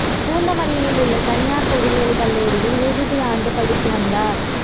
பூந்தமல்லியில் உள்ள தனியார் பொறியியல் கல்லூரியில் இறுதியாண்டு படித்து வந்தார்